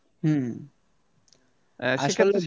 হম আসলে